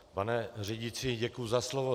Pane řídící, děkuji za slovo.